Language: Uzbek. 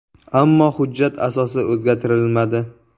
Ammo hujjat asosi o‘zgartirilmadi.